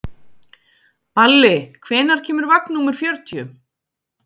Balli, hvenær kemur vagn númer fjörutíu?